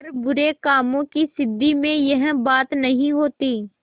पर बुरे कामों की सिद्धि में यह बात नहीं होती